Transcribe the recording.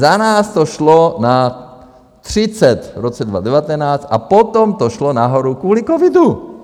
Za nás to šlo 30 v roce 2019 a potom to šlo nahoru kvůli covidu.